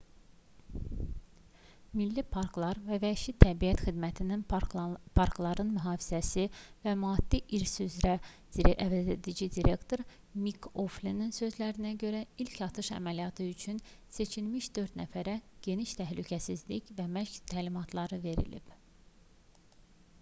milli parklar və vəhşi təbiət xidmətinin parkların mühafizəsi və maddi i̇rs üzrə əvəzedici direktoru mik oflinin sözlərinə görə ilk atış əməliyyatı üçün seçilmiş dörd nəfərə geniş təhlükəsizlik və məşq təlimatları verilib